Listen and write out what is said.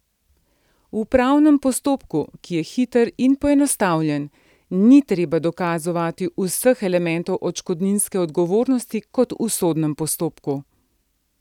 V upravnem postopku, ki je hiter in poenostavljen, ni treba dokazovati vseh elementov odškodninske odgovornosti kot v sodnem postopku.